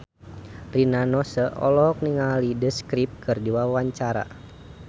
Rina Nose olohok ningali The Script keur diwawancara